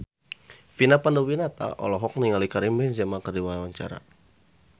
Vina Panduwinata olohok ningali Karim Benzema keur diwawancara